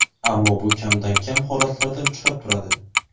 ammo bu kamdan kam holatlarda uchrab turadi.